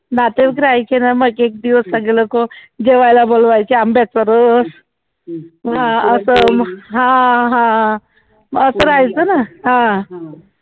नातेवाईक राहीचेना मग एक दिवस सगली लोक जेवायला बोलावयाचे आंबाच्या रस हा हा असं राहायचं ना